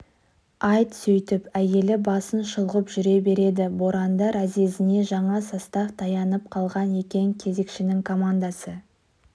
айт сөйтіп әйелі басын шұлғып жүре берді боранды разъезіне жаңа состав таянып қалған екен кезекшінің командасы